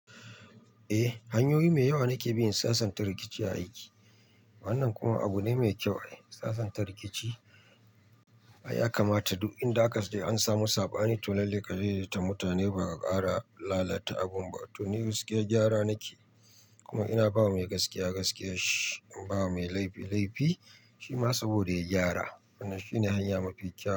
Eh, hanyoyi me yawa nake bi in sasanta rikici a aiki. Wannan kuma abu ne mai kyau. Sasanta rikici, ai yakamata duk inda aka ace an samu saɓani to lallai ka je da ta mutane ba ka ƙara lalata abun ba. To ni gaskiya gyara nake, kuma ina bawa mai gaskiya gaskiyan shi, in bawa mai laifi laifi, shi ma saboda ya gyara. Wannan shine hanya mafi kyau.